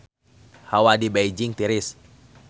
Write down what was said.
Hawa di Beijing tiris